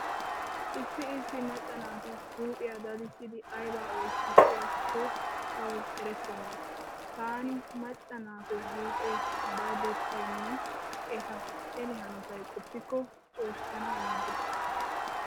Issi issi macca naati huuphiya dadissiiddi ayba oytissiyakko tawu erettenna. Taani macca naatu huuphe dadettaynne eta ele hanotay qoppikko cooshshanaaniiggees.